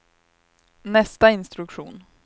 nästa instruktion